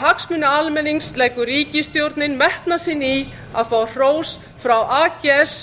hagsmuni almennings leggur ríkisstjórnin metnað sinn í að fá hrós frá ags